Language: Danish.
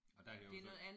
Og der er det jo så